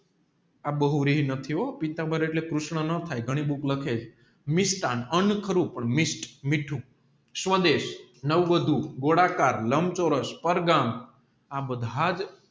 નથી હો પીતામ્બર એટલે કૃષ્ણ ન થાય ઘાણી બુક લખે મીષ્ટન અન્ના ખરું પણ મીઠું સ્વદેશ નવવધૂ ગોળાકાર લામચોરસ આ બધાજ